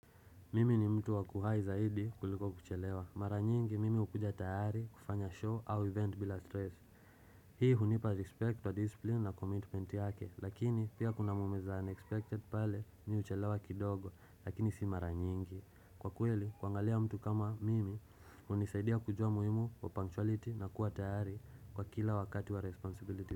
Mimi ni mtu wakuhai zaidi kuliko kuchelewa. Mara nyingi, mimi ukuja tayari, kufanya show au event bila stress. Hii hunipa respect wa discipline na commitment yake, lakini pia kuna moment ya unexpected pale nyi uchelewa kidogo, lakini si mara nyingi. Kwa kweli, kwangalia mtu kama mimi, unisaidia kujua muhimu wa punctuality na kuwa tayari kwa kila wakati wa responsibility.